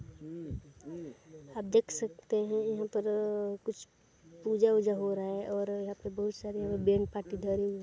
--आप देख सकते है यहाँ पर कुछ पूजा वुजा हो रहा है और यहाँ पे बहुत सारे बेल धरे हुए है।